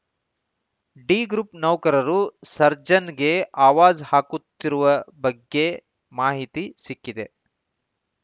D group ನೌಕರರು ಸರ್ಜನ್‌ಗೆ ಆವಾಜ್‌ ಹಾಕುತ್ತಿರುವ ಬಗ್ಗೆ ಮಾಹಿತಿ ಸಿಕ್ಕಿದೆ